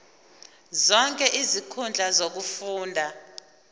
zonke izinkundla zokufunda